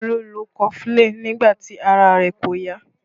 Olu lo kofulin nígbà tí ara rẹ̀ kò yá